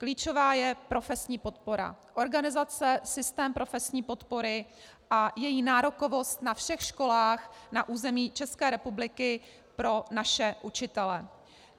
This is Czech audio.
Klíčová je profesní podpora, organizace, systém profesní podpory a její nárokovost na všech školách na území České republiky pro naše učitele.